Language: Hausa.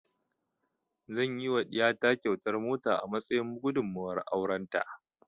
Zan yi wa ɗiya ta kyautar mota a matsayin gudumuwar auren ta